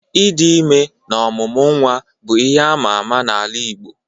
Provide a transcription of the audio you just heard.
Ịdị ime na ọmụmụ nwa bụ ihe ama ama n'ala igbo.